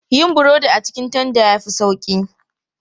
Yin burodi a cikin tanda ya fi sauƙi.